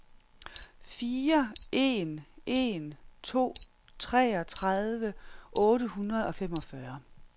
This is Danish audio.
fire en en to treogtredive otte hundrede og femogfyrre